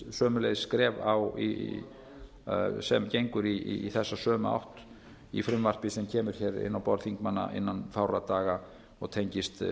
sömuleiðis skref sem gengur í þessa sömu átt í frumvarpi sem kemur hér inn á borð þingmanna innan fárra daga og tengist